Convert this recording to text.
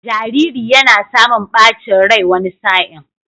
Jariri yana samun ɓacin rai wani sa'in.